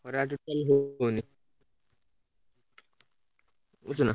ଖରା ହଉଛି କୁହନୀ ବୁଝୁଛୁ ନା?